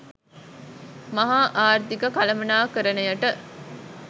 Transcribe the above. මහා ආර්ථික කළමනාකරණයට